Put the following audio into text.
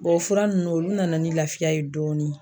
o fura nunnu olu nana ni lafiya ye dɔɔni.